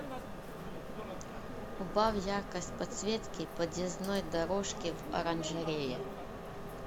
убавь яркость подсветки подъездной дорожки в оранжерее